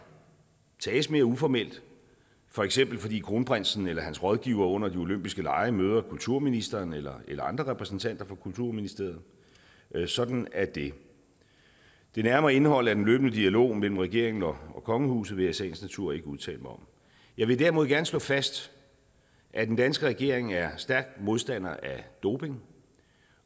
tages mere uformelt for eksempel fordi kronprinsen eller hans rådgivere under de olympiske lege møder kulturministeren eller andre repræsentanter for kulturministeriet sådan er det det nærmere indhold af den løbende dialog mellem regeringen og kongehuset i sagens natur ikke udtale mig om jeg vil derimod gerne slå fast at den danske regering er stærkt modstander af doping